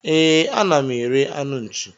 E, a na m ere anụ nchi.